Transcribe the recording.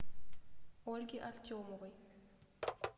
ольге артемовой